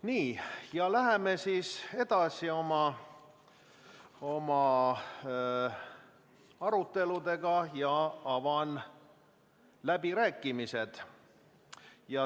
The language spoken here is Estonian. Nii, läheme oma aruteludega edasi ja avan läbirääkimised.